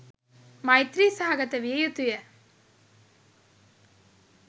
මෛත්‍රී සහගත විය යුතුය.